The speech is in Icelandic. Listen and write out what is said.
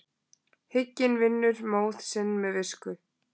Hygginn vinnur móð sinn með visku.